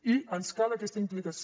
i ens cal aquesta implicació